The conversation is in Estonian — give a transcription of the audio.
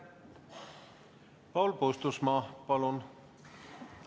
Paul Puustusmaa, palun!